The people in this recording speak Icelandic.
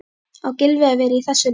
Á Gylfi að vera í þessu liði?